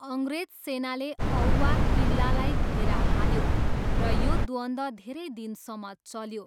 अङ्ग्रेज सेनाले औवा किल्लालाई घेरा हाल्यो र यो द्वन्द्व धेरै दिनसम्म चल्यो।